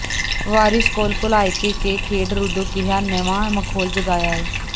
ਵਾਰਸ਼ ਕੌਲ ਭੁਲਾਇਕੇ ਕੇ ਖੇਡ ਰੁਧੋਂ ਕੇਹਾ ਨਵਾਂ ਮਖੌਲ ਜਗਾਇਆ ਈ